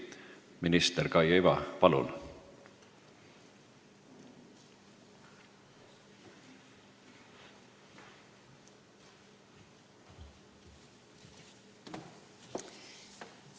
Minister Kaia Iva, palun!